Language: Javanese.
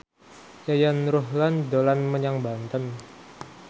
Yayan Ruhlan dolan menyang Banten